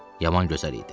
Yaman gözəl idi.